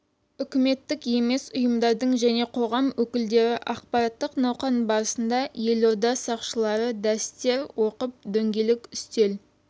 үкіметтік емес ұйымдардың және қоғам өкілдері ақпараттық науқан барысында елорда сақшылары дәрістер оқып дөңгелек үстел